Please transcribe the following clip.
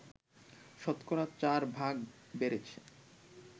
শতকরা ৪ ভাগ বেড়েছে